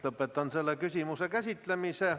Lõpetan selle küsimuse käsitlemise.